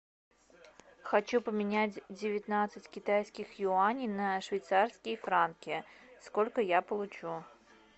хочу поменять девятнадцать китайских юаней на швейцарские франки сколько я получу